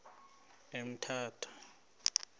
emthatha